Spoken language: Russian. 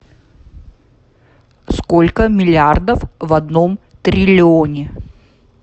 сколько миллиардов в одном триллионе